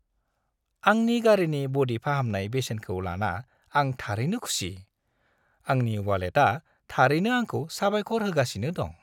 आंनि गारिनि ब'डि फाहामनाय बेसेनखौ लाना आं थारैनो खुसि; आंनि वालेटआ थारैनो आंखौ साबायखर होगासिनो दं!